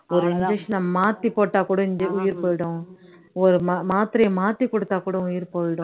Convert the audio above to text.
ஒரு injection அ மாத்தி போட்டா கூட உயிர் போயிடும் ஒரு மா மாத்திரையை மாத்தி கொடுத்தா கூட உயிர் போய்டும்